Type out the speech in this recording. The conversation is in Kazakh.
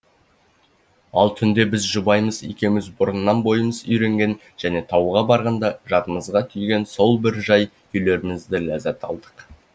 ал түнде біз жұбайымыз екеуіміз бұрыннан бойымыз үйренген және тауға барғанда жадымызға түйген сол бір жай күйлерімізден ләззат алдық